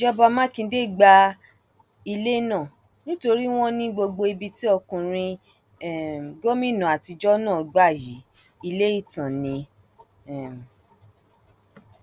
ìjọba mákindé gba ilé náà nítorí wọn ní gbogbo ibi tí ọkùnrin um gómìnà àtijọ náà gbà yìí ilé ìtàn ni um